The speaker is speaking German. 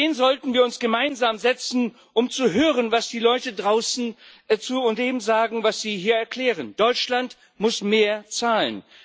An den sollten wir uns gemeinsam setzen, um zu hören, was die Leute draußen zu dem sagen, was Sie hier erklären Deutschland muss mehr zahlen.